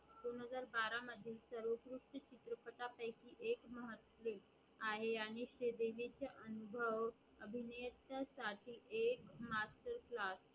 एक महत्व आहे आणि ते श्रीदेवीचे अनुभव अभिनेत्या साठी एक मात्र Class